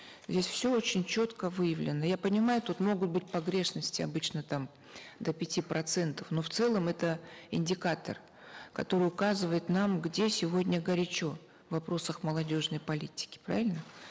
здесь все очень четко выявлено я понимаю тут могут быть погрешности обычно там до пяти процентов но в целом это индикатор который указывает нам где сегодня горячо в вопросах молодежной политики правильно